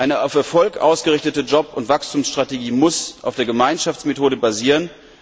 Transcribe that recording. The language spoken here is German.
Eine auf Erfolg ausgerichtete Job und Wachstumsstrategie muss auf der Gemeinschaftsmethode basieren.